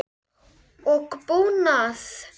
og búnað.